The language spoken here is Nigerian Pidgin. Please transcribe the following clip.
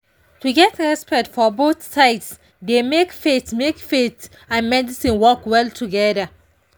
to get respect for both sides dey make faith make faith and medicine work well together.